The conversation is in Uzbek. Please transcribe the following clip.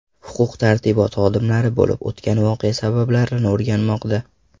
Huquq-tartibot xodimlari bo‘lib o‘tgan voqea sabablarini o‘rganmoqda.